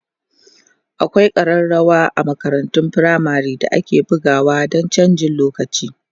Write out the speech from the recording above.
akwai karrawa a makarantun firamare da ake bugawa Dan chanjin lokaci